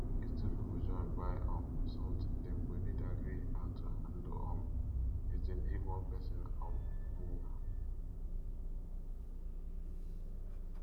if two pipo join buy um something dem go need agree how to handle um the thing if one person um move